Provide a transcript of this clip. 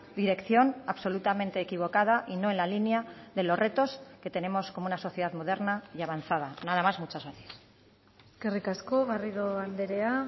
dirección absolutamente equivocada y no en la línea de los retos que tenemos como una sociedad moderna y avanzada nada más muchas gracias eskerrik asko garrido andrea